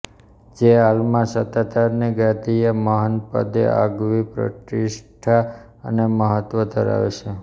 જે હાલમાં સતાધારની ગાદીએ મહંત પદે આગવી પ્રતિષ્ઠા અને મહત્વ ધરાવે છે